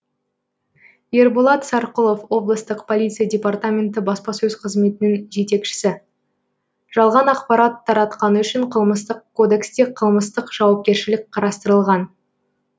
ерболат сарқұлов облыстық полиция департаменті баспасөз қызметінің жетекшісі жалған ақпарат таратқаны үшін қылмыстық кодексте қылмыстық жауапкершілік қарастырылған